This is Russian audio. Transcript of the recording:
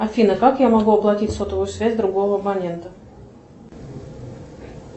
афина как я могу оплатить сотовую связь другого абонента